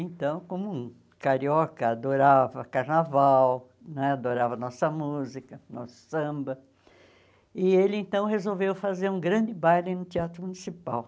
Então, como carioca, adorava carnaval, né adorava nossa música, nosso samba, e ele então resolveu fazer um grande baile no Teatro Municipal.